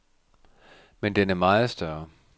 Men den er meget større.